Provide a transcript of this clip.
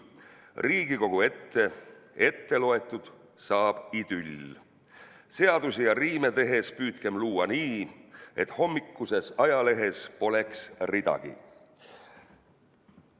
Riigikogus ette loetud saab idüll: seadusi ja riime tehes püüdkem luua nii, et hommikuses ajalehes poleks ridagi.